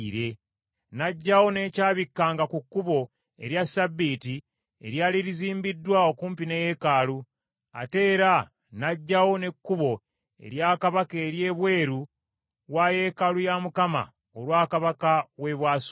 N’aggyawo n’ekyabikkanga ku kkubo erya ssabbiiti eryali lizimbiddwa okumpi ne yeekaalu, ate era n’aggyawo n’ekkubo erya kabaka ery’ebweru wa yeekaalu ya Mukama , olwa kabaka w’e Bwasuli.